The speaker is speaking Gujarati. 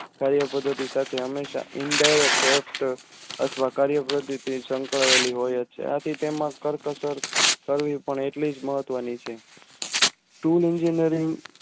કાર્ય પદ્ધતિ હંમેશા Indirect અથવા કાર્ય પદ્ધતિ સંકળાયેલી હોય છે આથી તેમાં કરકસર કરવી પણ એટલી જ મહત્વ ની છે તુલ Engineering